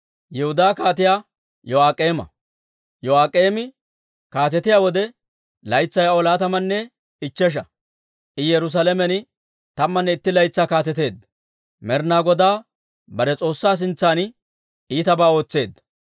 Yo'aak'eemi kaatetiyaa wode, laytsay aw laatamanne ichchesha; I Yerusaalamen tammanne itti laytsaa kaateteedda. Med'inaa Godaa bare S'oossaa sintsan iitabaa ootseedda.